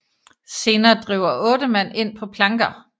Senere driver 8 mand ind på planker